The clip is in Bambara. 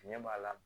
Tiɲɛ b'a la